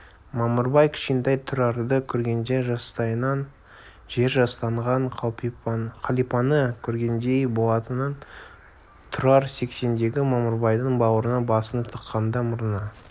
мамырбай кішкентай тұрарды көргенде жастайынан жер жастанған қалипаны көргендей болатынын тұрар сексендегі мамырбайдың бауырына басын тыққанда мұрнына